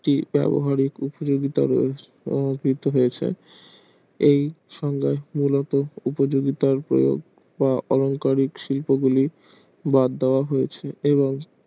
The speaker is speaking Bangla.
এই শুন্য উপযোগিতা বা অলংকারিক শিল্প গুলি ব্যাড দাওয়া হয়েছে